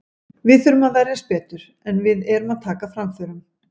Við þurfum að verjast betur, en við erum að taka framförum.